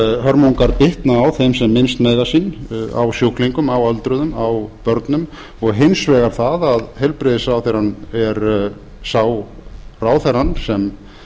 þessar hörmungar bitna á þeim sem minnst mega sín á sjúklingum á öldruðum á börnum og hins vegar það að heilbrigðisráðherrann er sá ráðherra sem